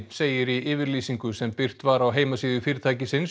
segir í yfirlýsingu sem birt var á heimasíðu fyrirtækisins